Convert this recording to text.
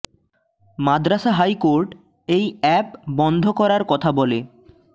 Madras high court এই app বন্ধ করার কথা বলে